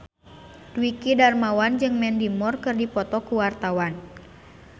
Dwiki Darmawan jeung Mandy Moore keur dipoto ku wartawan